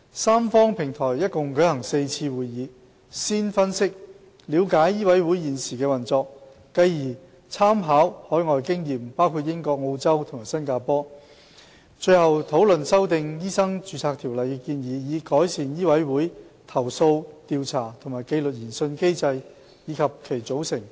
三方平台一共舉行了4次會議，先分析及了解醫委會現時的運作，繼而參考包括英國、澳洲和新加坡等海外經驗，最後討論修訂《醫生註冊條例》的建議，以改善醫委會的投訴調查和紀律研訊機制，以及其組成情況。